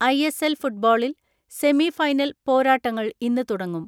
I S L ഫുട്ബോളിൽ semifinal പോരാ ട്ടങ്ങൾ ഇന്ന് തുടങ്ങും.